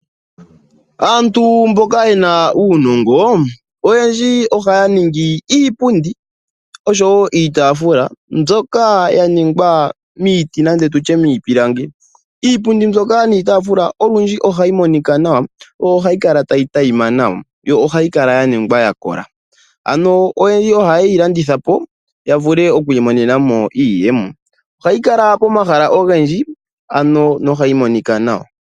Aantu mboka yena uunongo oyendji ohaya ningi iipundi oshowo iitafula mbyoka yaningwa miiti nande tutye miipilangi iipundi mbika niitafula olundji ohayi monika nawa nohayi tayi adhima nawa yo ohayi kala wo ya kola iipundi ano oyendji ohaye yi ohayeyi landithapo yavule okwi imonena mo iiyemo ohayi kala pomahala ogendji yo ohayi kala tayi monika nawa.